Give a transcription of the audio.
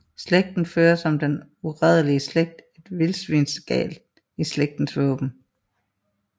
Slægten fører som den uradelige slægt en vildsvinsgalt i slægtsvåbenet